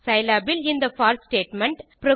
Scilab இல் இந்த போர் ஸ்டேட்மெண்ட்